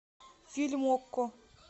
фильм окко